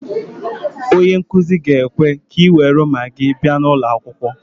Onye nkuzi ga-ekwe ka ị nwere Magị bịa n'ulo akwukwo